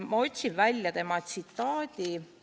Ma otsin välja tema tsitaadi.